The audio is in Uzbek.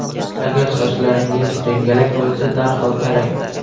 Agar sochlaringiz jingalak bo‘lsa, darhol tarang.